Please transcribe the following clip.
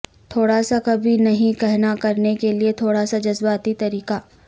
تھوڑا سا کبھی نہیں کہنا کرنے کے لئے تھوڑا سا جذباتی طریقہ